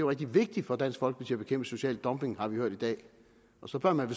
rigtig vigtigt for dansk folkeparti at bekæmpe social dumping har vi hørt i dag og så bør man